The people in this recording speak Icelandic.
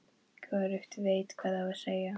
Hvorugt veit hvað á að segja.